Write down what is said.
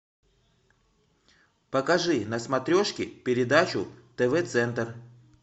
покажи на смотрешке передачу тв центр